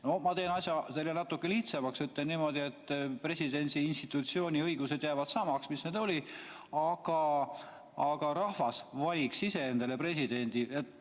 No ma teen asja natuke lihtsamaks ja ütlen niimoodi, et presidendi institutsiooni õigused jääksid samaks, mis need on olnud, aga rahvas valiks ise endale presidendi.